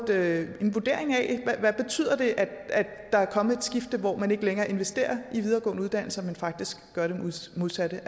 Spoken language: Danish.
med en vurdering af hvad det betyder at der er kommet et skifte hvor man ikke længere investerer i videregående uddannelser men faktisk gør det modsatte